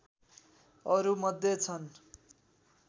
अरू मध्ये छन्